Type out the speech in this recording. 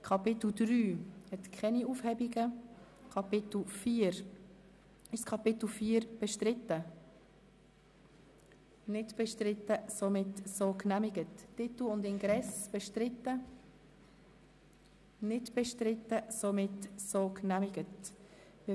Nachdem wir vorhin so viele Einzelsprecher gehört haben, würde ich am liebsten nur den Fraktionen das Wort erteilen.